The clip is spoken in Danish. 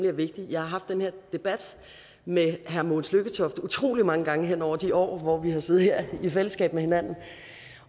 er vigtig jeg har haft den her debat med herre mogens lykketoft utrolig mange gange henover de år hvor vi har siddet her i fællesskab